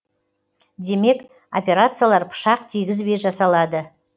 демек операциялар пышақ тигізбей жасалады